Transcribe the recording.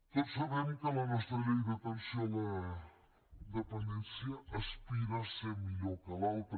tots sabem que la nostra llei d’atenció a la dependència aspira a ser millor que l’altra